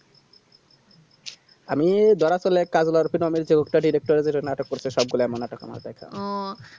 আমি ধর আসলে কাজ বারসেনা বলছে হকতাদি করতে হবে নাটক করতে সবগুলা মানে নাটক আমার দেখা আহ